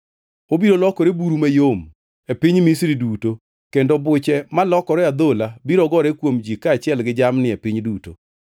Obiro lokore buru mayom e piny Misri duto kendo buche malokore adhola biro gore kuom ji kaachiel gi jamni e piny duto.”